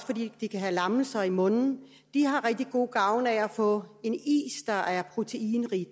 fordi de kan have lammelser i munden de har rigtig god gavn af at få en is der er proteinrig